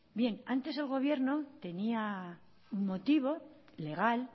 antes el gobierno tenía un motivo legal